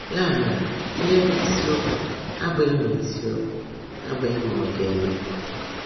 Yá mèrè, íhe bụ́ ísiokwú abụghị mà ísiokwú abụghị mà ọ̀ ga-émé.